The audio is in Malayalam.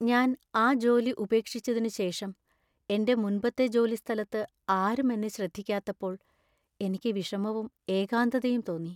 ഞാൻ ആ ജോലി ഉപേക്ഷിച്ചതിനുശേഷം എന്‍റെ മുൻപത്തെ ജോലിസ്ഥലത്ത് ആരും എന്നെ ശ്രദ്ധിക്കാത്തപ്പോൾ എനിക്ക് വിഷമവും ഏകാന്തതയും തോന്നി.